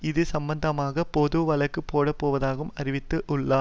இது சம்பந்தமாக பொதுவழக்கு போடப்போவதாகவும் அறிவித்து உள்ளார்